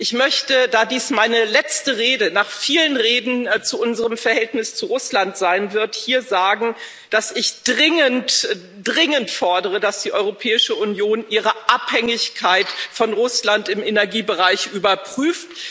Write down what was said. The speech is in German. Ich möchte da dies meine letzte Rede nach vielen Reden zu unserem Verhältnis zu Russland sein wird hier sagen, dass ich dringend dringend fordere, dass die Europäische Union ihre Abhängigkeit von Russland im Energiebereich überprüft.